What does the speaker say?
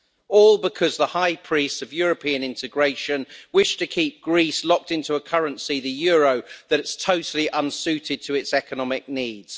All because the high priests of European integration wish to keep Greece locked into a currency, the euro, that is totally unsuited to its economic needs.